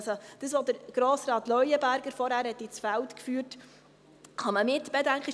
Also: Was Grossrat Leuenberger vorhin ins Feld geführt hat, kann man mitbedenken.